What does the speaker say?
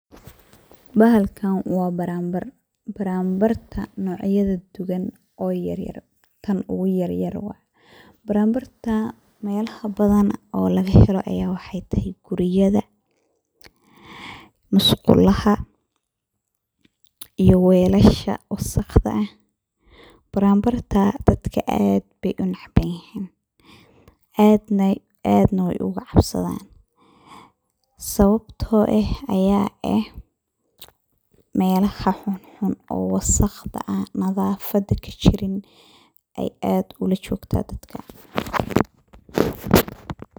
Bahalkan wa baranbar, baranbarta oo nocya duban oo yaryar tan oguyar waye. Baranbarta meelaha ogubadan ee lagahelo aya wexey tahay guryaha, musqulaha iyo welasha wasaqda ah, baranbarta dadka aad ayey unecebyihin aad nah wey ogacabsadan sawabto eh meelaha xunxun ee nadafada kajirin ayey aa ujogta dadka.